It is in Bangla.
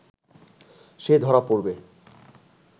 সে ধরা পড়বে